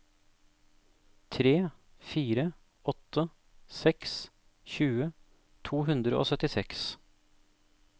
tre fire åtte seks tjue to hundre og syttiseks